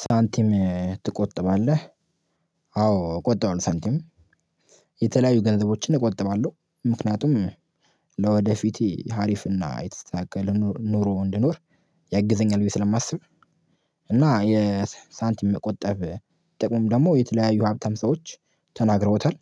ሳንቲም ትቆጥባለህ? አዎ እቆጥባሁኝ ሳንቲም የተለያዩ ገንዘቦችን እቆጥባለሁ ምክንያቱም ለወደፊቴ አሪፍና የተስተካከለ ኑሮ እንድኖር ያግዘኛል ብዬ ስለማስብ። እና የሳንቲም መቆጠብ ጥቅሙም ደግሞ የተለያዩ ሀብታም ሰዎች ተናግረውታል።